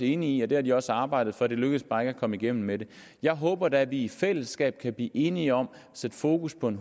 enige i det har de også arbejdet for det lykkedes bare ikke at komme igennem med det jeg håber da at vi i fællesskab kan blive enige om at sætte fokus på en